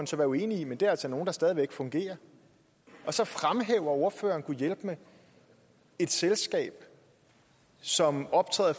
så være uenig i men det er altså nogle der stadig væk fungerer og så fremhæver ordføreren gudhjælpemig et selskab som optræder